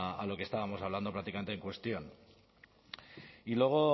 a lo que estábamos hablando prácticamente en cuestión y luego